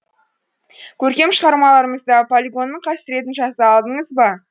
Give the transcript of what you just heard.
көркем шығармаларыңызда полигонның қасіретін жаза алдыңыз ба